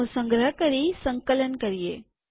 તેનો સંગ્રહ કરી સંકલન કરીએ